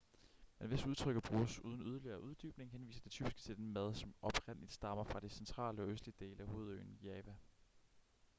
men hvis udtrykket bruges uden yderligere uddybning henviser det typisk til den mad som oprindeligt stammer fra de centrale og østlige dele af hovedøen java